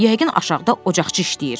Yəqin aşağıda ocaqçı işləyir.